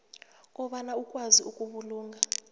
kobana ukwazi ukubulunga